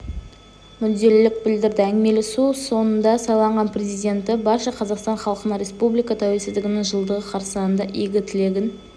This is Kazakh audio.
мүдделілік білдірді әңгімелесу соңында сайланған президенті барша қазақстан халқына республика тәуелсіздігінің жылдығы қарсаңында игі тілегін